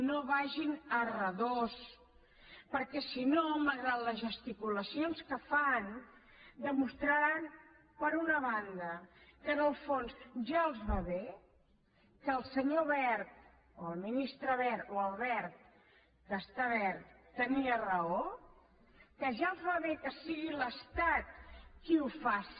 no vagin a redós perquè si no malgrat les gesticulacions que fan demostraran per una banda que en el fons ja els va bé que el senyor wert o el ministre wert o el verd que està verd tenia raó que ja els va bé que sigui l’estat qui ho faci